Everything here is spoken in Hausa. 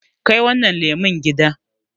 ya Kai wannan leman gida